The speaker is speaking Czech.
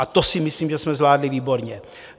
A to si myslím, že jsme zvládli výborně.